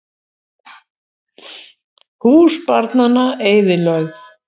Hús barnanna eyðilögð